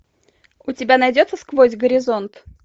у тебя найдется сквозь горизонт